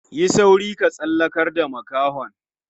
Yi sauri ka tsallakar da makahon.